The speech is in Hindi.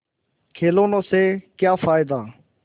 खिलौने से क्या फ़ायदा